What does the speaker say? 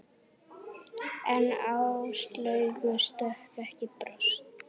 En Áslaugu stökk ekki bros.